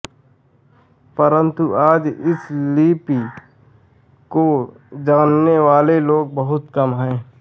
परंतु आज इस लिपि को जाननेवाले लोग बहुत कम हैं